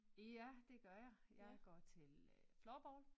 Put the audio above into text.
Ja det gør jeg jeg går til øh floorball